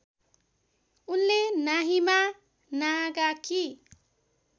उनले नाहिमा नागाकी